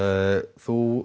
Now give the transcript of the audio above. þú